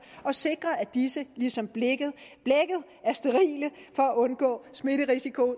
og sikre at disse ligesom blækket er sterile for at undgå smitterisiko